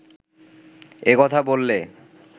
এ কথা বললে